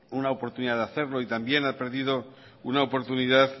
una oportunidad de hacerlo y también ha perdido una oportunidad